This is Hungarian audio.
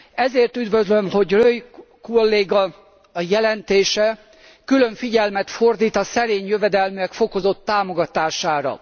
Ezért üdvözlöm, hogy Reul kolléga jelentése külön figyelmet fordít a szerény jövedelműek fokozott támogatására.